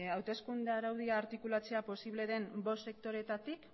hauteskunde araudia artikulatzea posible den bost sektoreetatik